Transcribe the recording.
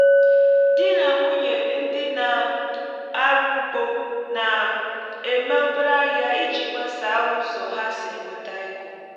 di na nwunye ndị na-arụ ugbo na-eme obere ahịa iji gbasaa ụzọ ha si enweta ego